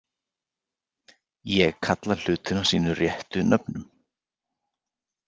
Ég kalla hlutina sínum réttu nöfnum.